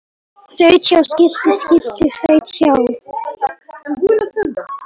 Þaut hjá skilti skilti þaut hjá